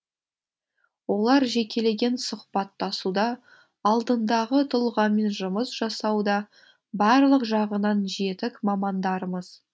олар жекелеген сұхбаттасуда алдындағы тұлғамен жұмыс жасауда барлық жағынан жетік мамандарымыз